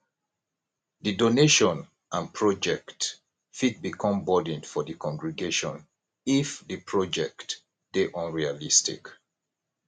di donation and project fit become burden for di congregation if di project dey unrealistic